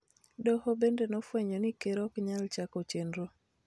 Doho bende nofwenyo ni Ker ok nyal chako chenro